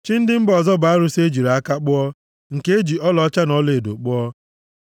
Chi ndị mba ọzọ bụ arụsị e jiri aka kpụọ, nke e ji ọlaọcha na ọlaedo kpụọ.